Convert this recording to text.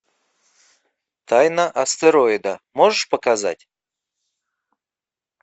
тайна астероида можешь показать